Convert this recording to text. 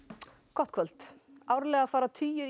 gott kvöld árlega fara tugir